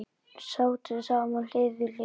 Sátum saman hlið við hlið.